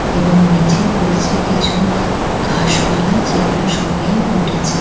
এবং নিচে রয়েছে কিছু ঘাস পালা যেগুলো সবেই উঠেছে ।